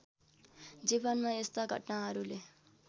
जीवनमा यस्ता घटनाहरुले